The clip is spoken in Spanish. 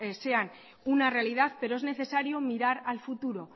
sean una realidad pero es necesario mirar al futuro